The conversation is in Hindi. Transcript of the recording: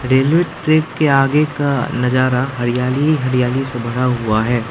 रेलवे ट्रैक के आगे का नजारा हरियाली ही हरियाली से भरा हुआ है।